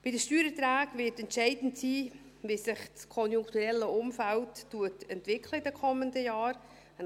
Bei den Steuererträgen wird entscheidend sein, wie sich das konjunkturelle Umfeld in den kommenden Jahren entwickeln wird.